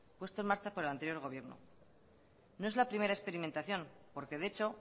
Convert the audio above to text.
puesto en marcha por el anterior gobierno no es la primera experimentación porque de hecho